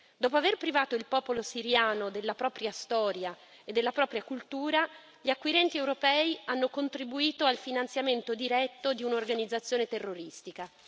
Dopo aver privato il popolo siriano della propria storia e della propria cultura, gli acquirenti europei hanno contribuito al finanziamento diretto di un'organizzazione terroristica.